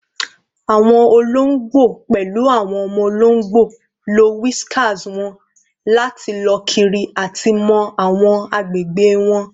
Awọn ologbo, pẹlu awọn ọmọ ologbo, lo whiskers wọn lati lọ kiri ati mọ awọn agbegbe wọn